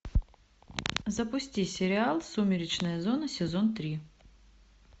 запусти сериал сумеречная зона сезон три